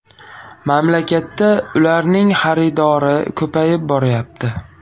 Mamlakatda ularning xaridori ko‘payib boryapti.